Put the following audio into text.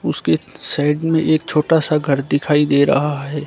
उसके साइड में एक छोटा सा घर दिखाई दे रहा है।